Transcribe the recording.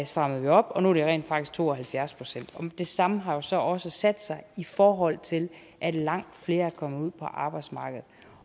strammede vi op og nu er det rent faktisk to og halvfjerds procent det samme har jo så også sat sig i forhold til at langt flere er kommet ud på arbejdsmarkedet